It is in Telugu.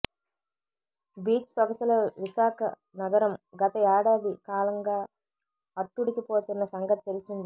బీచ్ సొగసుల విశాఖ నగరం గత ఏడాది కాలంగా అట్టుడికిపోతున్న సంగతి తెలిసిందే